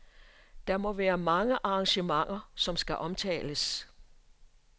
Der må være mange arrangementer , som skal omtales.